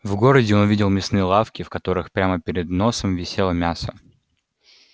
в городе он видел мясные лавки в которых прямо перед носом висело мясо